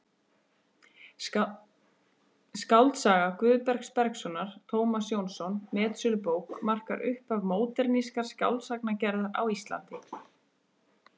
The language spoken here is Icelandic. Skáldsaga Guðbergs Bergssonar, Tómas Jónsson: metsölubók markar upphaf módernískrar skáldsagnagerðar á Íslandi.